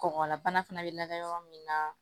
Kɔngɔlabana fana bɛ lagɛ yɔrɔ min na